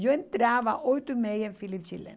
Eu entrava oito e meia em Chileno.